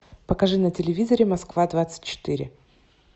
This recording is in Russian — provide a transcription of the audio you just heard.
покажи на телевизоре москва двадцать четыре